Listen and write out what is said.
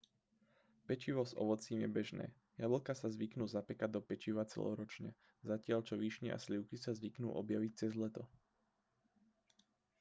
pečivo s ovocím je bežné jablká sa zvyknú zapekať do pečiva celoročne zatiaľ čo višne a slivky sa zvyknú objaviť cez leto